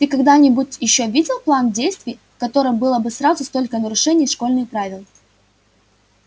ты когда-нибудь ещё видел план действий в котором было бы сразу столько нарушений школьных правил